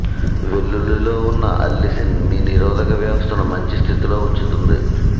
వెల్లుల్లిలో ఉన్న అల్లిసిన్ మీ నిరోధక వ్యవస్థను మంచి స్థితిలో ఉంచుతుంది